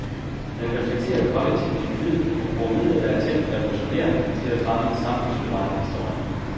Den reflekterer kollektivt individet og bruger midler, der er tænkt revolutionerende til at fremme en samfundsbevarende historie.